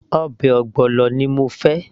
ọbẹ̀ ogbono ni mo fẹ́